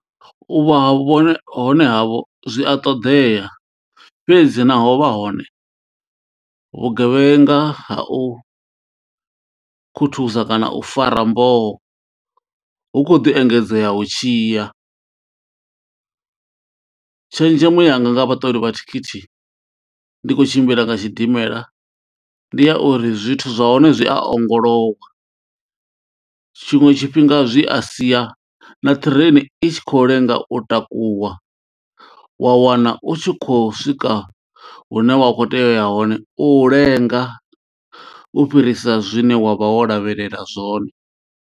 U vha vhone hone havho zwi a ṱoḓea fhedzi na ho vha hone vhugevhenga ha u khuthuza kana u fara mboho hu kho ḓi engedzea hu tshiya. Tshenzhemo yanga nga vhaṱoli vha thikhithi ndi khou tshimbila nga tshidimela ndi ya uri zwithu zwa hone zwi a ongolowa tshinwe tshifhinga zwi a sia na ṱireni i tshi kho lenga u takuwa wa wana u tshi kho swika hune wa kho tea uya hone u lenga u fhirisa zwine wa vha wo lavhelela zwone.